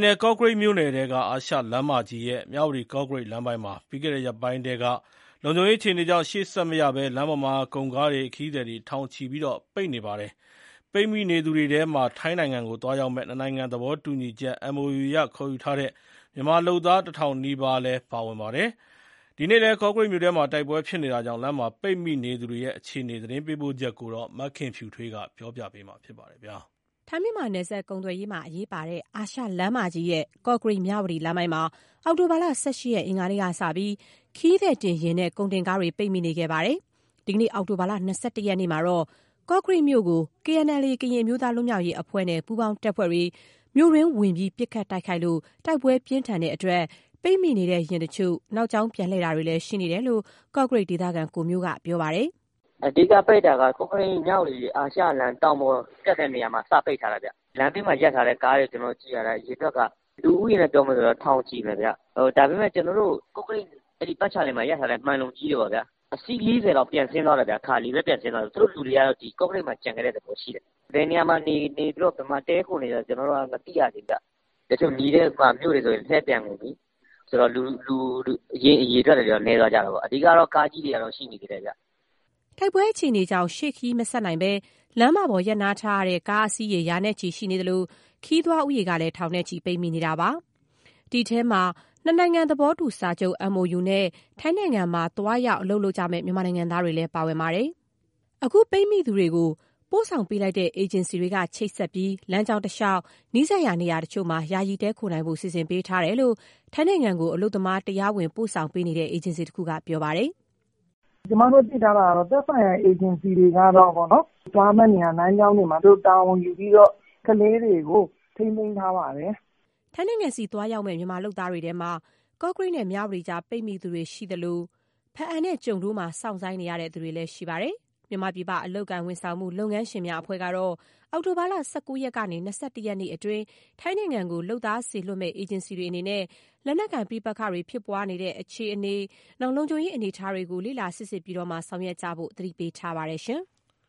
နယ်၊ ကော့ကရိတ်မြို့နယ်ထဲက အာရှလမ်းမကြီးရဲ့ မြဝတီ- ကော့ကရိတ်လမ်းပိုင်းမှာ ပြီးခဲ့တဲ့ရက်ပိုင်းထဲက လုံခြုံရေးအခြေအနေကြောင့် ရှေ့ဆက်မရဘဲ လမ်းပေါ်မှာ ကုန်ကားတွေ ခရီးသည်တွေ ထောင်ချီ ပိတ်မိနေပါတယ်။ ပိတ်မိနေသူတွေထဲမှာ နှစ်နိုင်ငံသဘောတူညီချက် MOU အရ ထိုင်းနိုင်ငံကခေါ်ယူထားတဲ့ မြန်မာလုပ်သား ၁ ထောင်နီးပါးလည်း ပါဝင်ပါတယ်။ ဒီနေ့ဖြစ်နေတဲ့ ကော့ကရိတ်မြို့တွင်းက တိုက်ပွဲတွေကြောင့် လမ်းမှာပိတ်မိနေသူတွေရဲ့ အခြေအနေ သတင်းပေးပို့ချက်ကို မခင်ဖြူထွေးက တင်ပြပေးထားပါတယ်။ ထိုင်း မြန်မာနယ်စပ်ကုန်သွယ်ရေးမှာအရေးပါတဲ့ အာရှလမ်းမကြီးရဲ့ ကော့ကရိတ်-မြဝတီလမ်းပိုင်းမှာ အောက်တိုဘာလ ၁၈ ရက် အင်္ဂါနေ့ကစပြီး ခရီးသည်တင်ယာဉ်နဲ့ ကုန်တင်ကားတွေ ပိတ်မိနေခဲ့ပါတယ်။ ဒီနေ့ အောက်တိုဘာ ၂၁ ရက်မှာတော့ ကော့ကရိတ်မြို့ကို KNLA ကရင် အမျိုးသားလွတ်မြောက်ရေးအဖွဲ့နဲ့ ပူးပေါင်းတပ်ဖွဲ့တွေ မြို့တွင်းကိုဝင်ပစ်ခတ်လို့ တိုက်ပွဲပြင်းထန်တဲ့အတွက် ပိတ်မိနေတဲ့ ယာဉ်တချို့ နောက်ကြောင်းပြန်လှည့်တာတွေလည်း ရှိနေတယ်လို့ ကော့ကရိတ်ဒေသခံ ကိုမျိုးက ပြောပါတယ်။ "အဓိက ပိတ်တာက ကော့ကရိတ် - မြဝတီ (အာရှလမ်းမကြီး) တောင်ပေါ်တက်တဲ့ နေရာမှာ စ ပိတ်ထားတာဗျ။ လမ်းဘေးမှာ ရပ်ထားတဲ့ကားတွေ ကျနော်တို့ကြည့်ရတာ အရေအတွက်က လူဦးရေနဲ့ ပြောမယ်ဆိုရင် ထောင်ချီမယ်ဗျ။ ဒါပေမယ့် ကျနော်တို့ ကော့ကရိတ် အဲဒီပတ်ချာလည်မှာ ရပ်ထားတဲ့ မှန်လုံကြီးတွေပေါ့ဗျာ- အစီး ၄၀ လောက် ပြန်ဆင်းသွားတယ်ဗျ။ ခါလီတွေပဲ ပြန်ဆင်းသွားတာ။ သူတို့လူတွေကတော့ ကော့ကရိတ်မှာပဲ ကျန်ခဲ့တဲ့သဘော ရှိတယ်။ ဘယ်နေရာမှာ နေပြီး ဘယ်မှာ တည်းခိုနေကြတယ်ဆိုတာ မသိရသေးဘူးဗျ။ တချို့ နီးတဲ့မြို့တွေဆိုရင် လှည့်ပြန်ကုန်ပြီဆိုတော့ လူအရေအတွက်ကတော့ နည်းသွားတာပေါ့။ အဓိကတော့ ကားကြီးတွေကတော့ ရှိနေသေးတယ်ဗျ။" တိုက်ပွဲအခြေအနေကြောင့် ရှေ့ခရီးမဆက်နိုင်ဘဲ လမ်းမပေါ် ရပ်နားထားရတဲ့ ကားအစီးရေ ရာနဲ့ချီရှိနေသလို ခရီးသွားဦးရေကလည်း ထောင်နဲ့ချီ ပိတ်မိနေပါတယ်။ အဲဒီထဲမှာ နှစ်နိုင်ငံသဘောတူ စာချုပ် MOU နဲ့ ထိုင်းနိုင်ငံမှာ သွားရောက်အလုပ်လုပ်မယ့် မြန်မာလုပ်သားတွေလည်း ပါဝင်ပါတယ်။ အခုပိတ်မိနေသူတွေကို ပို့ဆောင်ပေးလိုက်တဲ့ အေဂျင်စီတွေက ချိတ်ဆက်ပြီး လမ်းကြောင်းတလျှောက် နီးစပ်ရာနေရာတချို့မှာ ယာယီတည်းခိုနိုင်ဖို့ စီစဉ်ပေးထားတယ်လို့ ထိုင်းနိုင်ငံကို အလုပ်သမား တရားဝင်ပို့ဆောင် ပေးနေတဲ့ အေဂျင်စီတခုက ပြောပါတယ်။ "ကျမတို့ သိထားတာကတော့ သက်ဆိုင်ရာ အေဂျင်စီတွေကတော့ သွားမယ့်နေရာ လမ်းကြောင်းတွေမှာ သူတို့ တာဝန်ယူပြီးတော့ ကလေးတွေကို ထိန်းသိမ်းထားပါတယ်။" ထိုင်းနိုင်ငံဆီ သွားရောက်မယ့် မြန်မာလုပ်သားတွေမှာ ကော့ကရိတ်နဲ့ မြဝတီကြား ပိတ်မိသူတွေရှိသလို ဘားအံနဲ့ ကျုံဒိုးမှာ စောင့်ဆိုင်းနေရသူတွေလည်း ရှိပါတယ်။ မြန်မာပြည်ပ အလုပ်အကိုင်ဝန်ဆောင်မှု လုပ်ငန်းရှင်များအဖွဲ့ချုပ်ကတော့ အောက်တိုဘာလ ၁၉ ရက်ကနေ ၂၁ ရက်နေ့အတွင်း ထိုင်းနိုင်ငံကို လုပ်သားစေလွှတ်မယ့် အေဂျင်စီတွေအနေနဲ့ လက်နက်ကိုင်ပဋိပက္ခတွေ ဖြစ်ပွားနေတဲ့ အခြေအနေ။ လုံခြုံရေးအနေအထားတွေကို လေ့လာစီစစ်ပြီးမှ ဆောင်ရွက်ကြဖို့ကို အသိပေးထားပါတယ်။